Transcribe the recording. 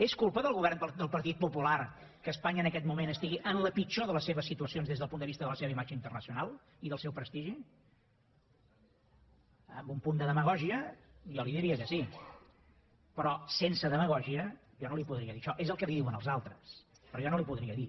és culpa del govern del partit popular que espanya en aquest moment estigui en la pitjor de les seves situacions des del punt de vista de la seva imatge internacional i del seu prestigi amb un punt de demagògia jo li diria que sí però sense demagògia jo no li podria dir això és el que li diuen els altres però jo no li ho podria dir